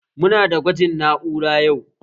Muna da gwaji na'ura yau